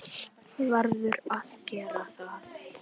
Verður að gera það.